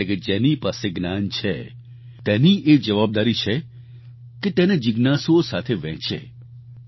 એટલે કે જેની પાસે જ્ઞાન છે તેની એ જવાબદારી છે કે તે તેને જિજ્ઞાસુઓ સાથે વહેંચે